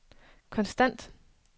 konstant